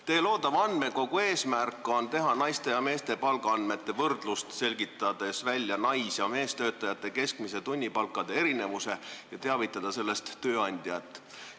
Teie loodava andmekogu eesmärk on võrrelda naiste ja meeste palgaandmeid, selgitada välja nais- ja meestöötajate keskmiste tunnipalkade erinevus ja teavitada sellest tööandjat.